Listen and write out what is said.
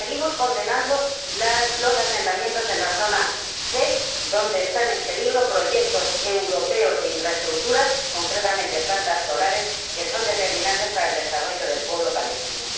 Y seguimos condenando los asentamientos en la zona C, donde están en peligro proyectos europeos de infraestructuras, concretamente plantas solares, que son determinantes para el desarrollo del pueblo palestino.